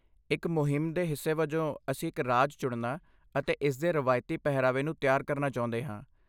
ਇੱਕ ਮੁਹਿੰਮ ਦੇ ਹਿੱਸੇ ਵਜੋਂ, ਅਸੀਂ ਇੱਕ ਰਾਜ ਚੁਣਨਾ ਅਤੇ ਇਸਦੇ ਰਵਾਇਤੀ ਪਹਿਰਾਵੇ ਨੂੰ ਤਿਆਰ ਕਰਨਾ ਚਾਹੁੰਦੇ ਹਾਂ।